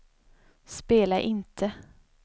spela inte